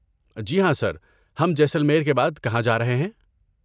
جی ہاں سر، ہم جیسلمیر کے بعد کہاں جا رہے ہیں؟